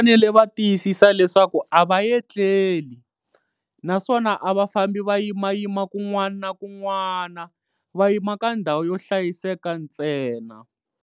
Va fanele va tiyisisa leswaku a va yetleli naswona a va fambi va yimayima kun'wana na kun'wana, va yima ka ndhawu yo hlayiseka ntsena.